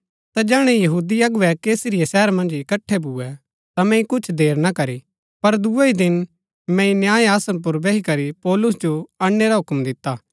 ता जैहणै यहूदी अगुवै कैसरिया शहर मन्ज इकट्ठै भूए ता मैंई कुछ देर ना करी पर दूये ही दिन मैंई न्याय आसन पुर बैही करी पौलुस जो अणनै रा हूक्म दिता